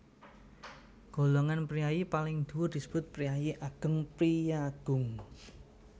Golongan priyayi paling dhuwur disebut Priayi Ageng priyagung